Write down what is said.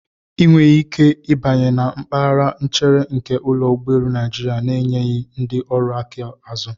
Ị nweghị ike ịbanye na mpaghara nchere nke ụlọ ụgbọelu Naịjirịa na-enyeghị ndị ọrụ aka azụ.